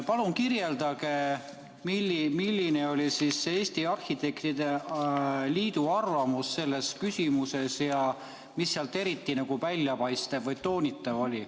Palun kirjeldage, milline oli Eesti Arhitektide Liidu arvamus selles küsimuses ja mis sealt eriti väljapaistev või toonitatav oli.